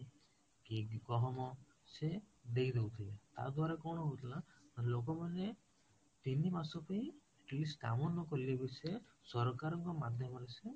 କି ଗହମ ସେ ଦେଇ ଦଉଥିଲେ ତା ଦ୍ୱାରା କଣ ହଉଥିଲା ନା ଲୋକ ମାନେ ତିନି ମାସ ପାଇଁ at least କାମ ନ କଲେ ବି ସେ ସରକାରଙ୍କ ମାଦ୍ୟମ ରେ ସେ